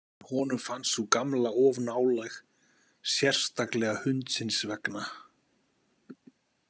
En honum fannst sú gamla of nálæg, sérstaklega hundsins vegna.